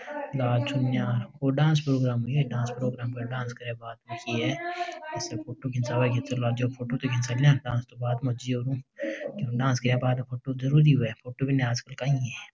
लाल चुन्नी है कोई डांस प्रोग्राम भी है डांस करे बाद फोटो खिचबे डांस तो बाद में हो जावे डांस गया बाद में फोटो आज कल जरुरी है फोटो बिना काई है।